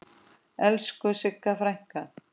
Elsku Sigga frænka.